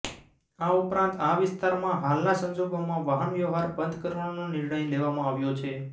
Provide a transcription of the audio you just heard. આ ઉપરાંત આ વિસ્તારમાં હાલના સંજોગોમાં વાહનવ્યવહાર બંધ કરવાનો નિર્ણય લેવામાં આવ્યો છે